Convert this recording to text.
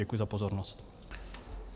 Děkuji za pozornost.